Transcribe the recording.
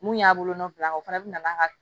Mun y'a bolo nɔfila o fana bina n'a ka